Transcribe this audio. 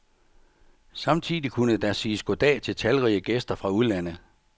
Samtidig kunne der siges goddag til talrige gæster fra udlandet.